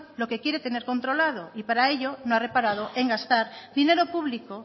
lo que quiere tener controlado y para ello no ha reparado en gastar dinero público